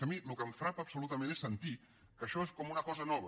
és que a mi el que em frapa absolutament és sentir que això és com una cosa nova